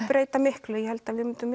breyti miklu ég held við myndum